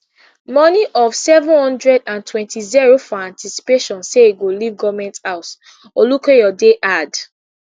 moni of seven hundred and twenty zero for anticipation say e go leave goment house olukoyede add